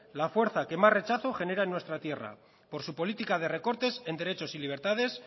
la fuerza que más rechazo genera en nuestra tierra por su política de recortes en derechos y libertades